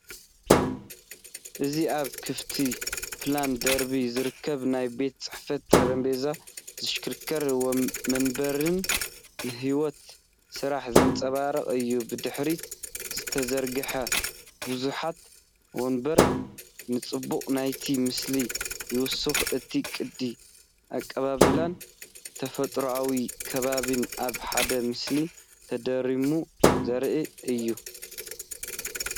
እዚ ኣብ ክፉት ፕላን ደርቢ ዝርከብ ናይ ቤት ጽሕፈት ጠረጴዛን ዝሽክርከር መንበርን ንህይወት ስራሕ ዘንጸባርቕ እዩ። ብድሕሪት ዝተዘርግሑ ብዙሓት መንበር ንጽባቐ ናይቲ ምስሊ ይውስኹ፤ እቲ ቅዲ ኣቀባብላን ተፈጥሮኣዊ ከባቢን ኣብ ሓደ ምስሊ ተደሚሩ ዘርኢ እዩ።